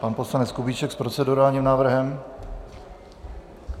Pan poslanec Kubíček s procedurálním návrhem.